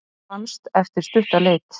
Fannst eftir stutta leit